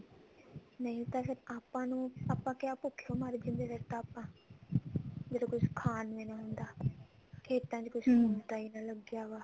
ਨਹੀਂ ਫ਼ੇਰ ਆਪਾਂ ਨੂੰ ਆਪਾਂ ਕਿਆ ਭੁੱਖੇ ਹੀ ਮਰ ਜਾਂਦੇ ਫ਼ੇਰ ਤਾਂ ਆਪਾਂ ਜਦੋਂ ਕੁਛ ਖਾਣ ਨੂੰ ਨੀ ਹੁੰਦਾ ਖੇਤਾਂ ਚ ਕੁੱਛ ਹੁੰਦਾ ਨਾ ਓ ਲੱਗਿਆ ਹੋਇਆ